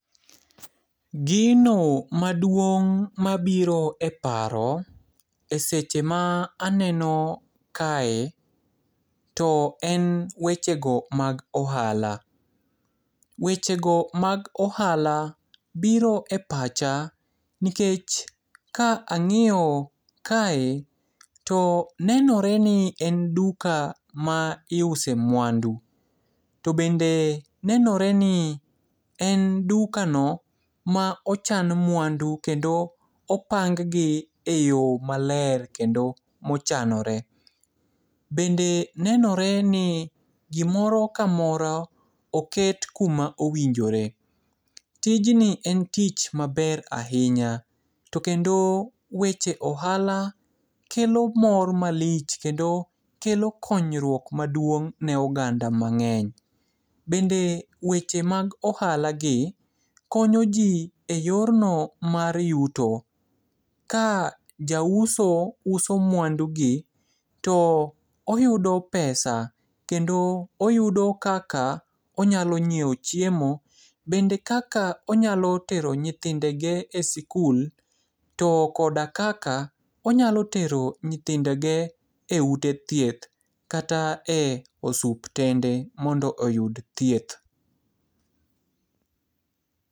Gino maduong' mabiro e paro e seche ma aneno kae. To en wechego mag ohala. Wechego mag ohala biro e pacha, nikech ka ang'iyo kae, to nenoreni en duka ma iuse mwandu. To bende nenoreni en dukano ma ochan mwandu kendo opang gi e yo maler kendo mochanore. Bende nenoreni gimoro kamoro oket kuma owinjore. Tijni en tich maber ahinya. To kendo weche ohala kelo mor malich, kendo kelo konyruok maduong' ne oganda mang'eny. Bende weche mag ohalagi konyo ji e yorno mar yuto. Ka jauso uso mwandugi, to oyudo pesa kendo oyudo kaka onyalo ng'ieo chiemo. Bende kaka onyalo tero nyithindege e sikul. To koda kaka onyalo tero nyithindege e ute thieth kata e osuptende mondo oyud thieth.